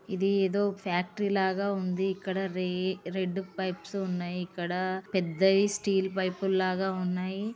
ఇది ఏదో ఫ్యాక్టరీ లాగా ఉంది. ఇక్కడ రే రేడ్ పైప్స్ ఉన్నాయి ఇక్కడా పెద్ద స్టీల్ పైప్స్ లాగా ఉన్నాయి.